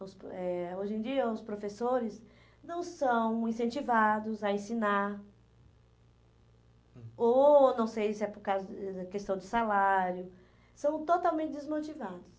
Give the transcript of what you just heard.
os eh hoje em dia, os professores não são incentivados a ensinar, ou não sei se é por causa da questão do salário, são totalmente desmotivados.